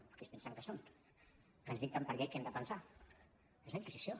però qui es pensen que són que ens dicten per llei què hem de pensar és la inquisició